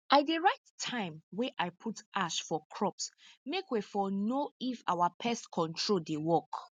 i dey write time wey i put ash for crops make wey for know if our pest control dey work